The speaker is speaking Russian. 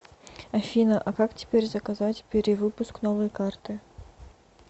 афина а как теперь заказать перевыпуск новой карты